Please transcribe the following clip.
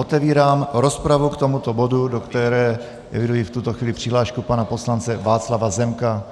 Otevírám rozpravu k tomuto bodu, do které eviduji v tuto chvíli přihlášku pana poslance Václava Zemka,